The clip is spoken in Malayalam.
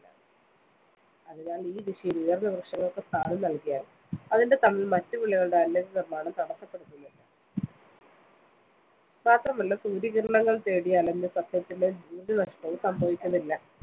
അതിനാല്‍ ഈ ദിശയില്‍ ഉയര്‍ന്ന വൃക്ഷങ്ങള്‍ക്ക് സ്ഥാനം നല്‍കിയാല്‍ അതിന്റെ തണല്‍ മറ്റു വിളകളുടെ തടസ്സപ്പെടുത്തുന്നില്ല. മാത്രമല്ല സൂര്യകിരണങ്ങള്‍ തേടി അലഞ്ഞ് സസ്യത്തിന് ഊര്‍ജ്ജനഷ്ടവും സംഭവിക്കുന്നില്ല.